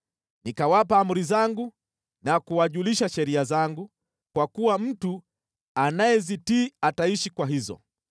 Nikawapa amri zangu na kuwajulisha sheria zangu, kwa kuwa mtu anayezitii ataishi kwa hizo.